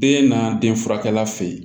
Den na den furakɛla fɛ yen